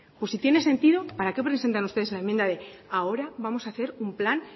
pues si tiene sentido para que presentan ustedes la enmienda de ahora vamos a hacer un plan